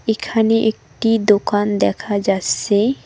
এখানে একটি দোকান দেখা যাস্সে ।